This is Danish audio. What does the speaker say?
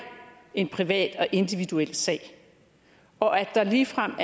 en privat og individuel sag og at der ligefrem